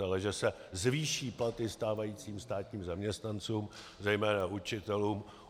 Ale že se zvýší platy stávajícím státním zaměstnancům, zejména učitelům.